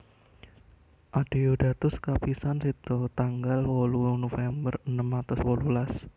Adeodatus kapisan seda tanggal wolu November enem atus wolulas